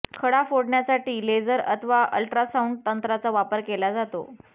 खडा फोडण्यासाठी लेजर अथवा अल्ट्रासाउंड तंत्राचा वापर केला जातो